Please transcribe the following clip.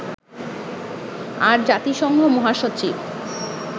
আর জাতিসংঘ মহাসচিব